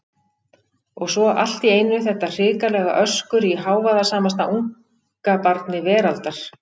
Og svo allt í einu þetta hrikalega öskur í hávaðasamasta ungabarni veraldar!